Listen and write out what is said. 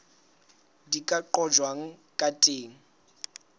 di ka qojwang ka teng